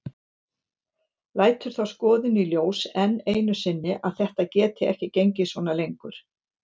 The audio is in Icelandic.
Lætur þá skoðun í ljós enn einu sinni að þetta geti ekki gengið svona lengur.